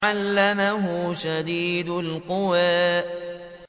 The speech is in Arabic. عَلَّمَهُ شَدِيدُ الْقُوَىٰ